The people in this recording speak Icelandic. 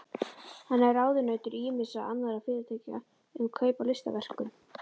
Hann er ráðunautur ýmissa annarra fyrirtækja um kaup á listaverkum.